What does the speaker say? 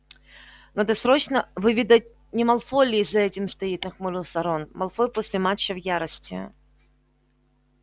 надо срочно выведать не малфой ли за этим стоит нахмурился рон малфой после матча в ярости